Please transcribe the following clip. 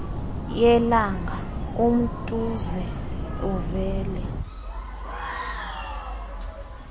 yelanga umtuze uvele